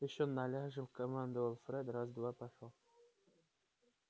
ещё наляжем командовал фред раз-два пошёл